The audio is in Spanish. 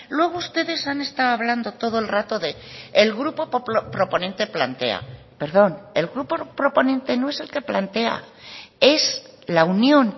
luego ustedes han estado hablando todo el rato del grupo proponente plantea perdón el grupo proponente no es el que plantea es la unión